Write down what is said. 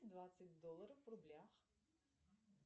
двадцать долларов в рублях